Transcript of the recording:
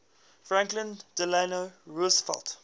franklin delano roosevelt